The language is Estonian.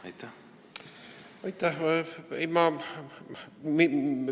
Aitäh!